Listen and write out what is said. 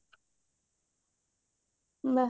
ବା